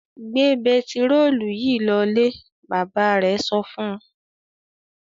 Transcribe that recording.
"Gbẹ pẹtírólù yìí lọlé!" Bàbá rẹ̀ sọ fún un.